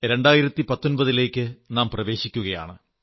2019 ലേക്ക് നാം പ്രവേശിക്കയാണ്